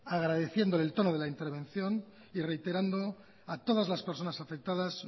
agradeciéndole el tono de la intervención y reiterando a todas las personas afectadas